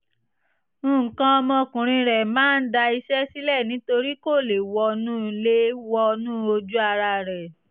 nǹkan ọmọkùnrin rẹ máa ń da iṣẹ́ sílẹ̀ nítorí kò lè wọnú lè wọnú ojú ara rẹ̀